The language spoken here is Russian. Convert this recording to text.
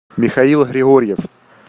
михаил григорьев